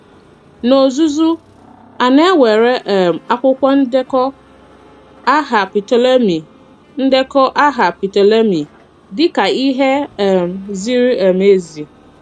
N’ozuzu, a nā-ewere um akwụkwọ ndekọ àhà Ptolemy ndekọ àhà Ptolemy díkà ihe um ziri um ezi.